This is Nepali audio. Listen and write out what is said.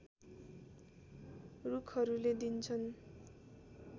रूखहरूले दिन्छन्